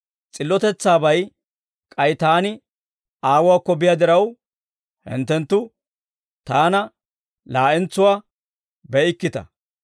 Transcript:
S'illotetsaabay k'ay Taani Aawuwaakko biyaa diraw, hinttenttu Taana laa'entsuwaa be'ikkita.